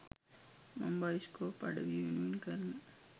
මං බයිස්කෝප් අඩවිය වෙනුවෙන් කරන